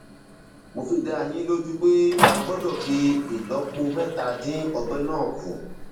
mo fi dá yín lójú pé a gbọdọ fi ìlọpo mẹta dín ọgbẹ náà kù